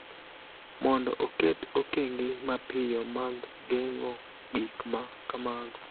mondo oket okenge mapiyo mag geng�o gik ma kamago.